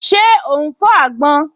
Ṣé ó ún fọ́ àgbọn?